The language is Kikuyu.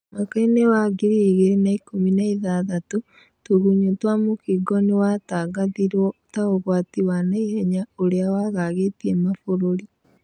mwakai-nĩ wa ngiri igĩrĩ na ikũmi na ithathatũ. tũgunyũtwa mũkingo nĩwatangathirwo ta ũgwati wa naihenya ũrĩa wagagĩtie mabũrũri.